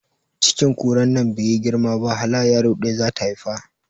Cikin kuran nan baiyi girma ba hala yaro ɗaya zata haifa